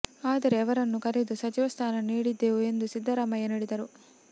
ಆದರೆ ಅವರನ್ನು ಕರೆದು ಸಚಿವ ಸ್ಥಾನ ನೀಡಿದ್ದೆವು ಎಂದು ಸಿದ್ಧರಾಮಯ್ಯ ನುಡಿದರು